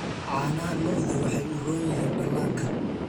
Caanaha lo'du waxay u roon yihiin dhallaanka.